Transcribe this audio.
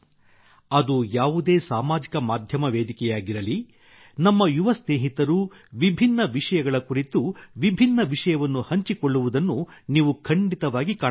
ಅದು ಯಾವುದೇ ಸಾಮಾಜಿಕ ಮಾಧ್ಯಮ ವೇದಿಕೆಯಾಗಿರಲಿ ನಮ್ಮ ಯುವ ಸ್ನೇಹಿತರು ವಿಭಿನ್ನ ವಿಷಯಗಳ ಕುರಿತು ವಿಭಿನ್ನ ವಿಷಯವನ್ನು ಹಂಚಿಕೊಳ್ಳುವುದನ್ನು ನೀವು ಖಂಡಿತವಾಗಿ ಕಾಣಬಹುದು